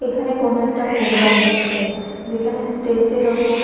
এখানে কোনো একটা প্রোগ্রাম হচ্ছে যেখানে স্টেজ -এর ওপর--